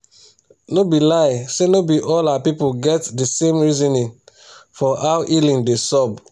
no be lie say no be all our pipu get the same reasonin for how healing da sub